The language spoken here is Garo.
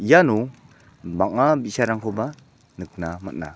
iano bang·a bi·sarangkoba nikna man·a.